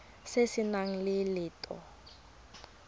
se se nang le letlha